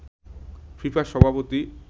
FIFA সভাপতি